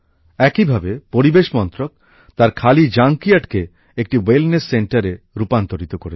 একইভাবে পরিবেশ মন্ত্রক তার খালি জাঙ্কইয়ার্ডকে একটি স্বাস্থ্যকেন্দ্রে রূপান্তরিত করেছে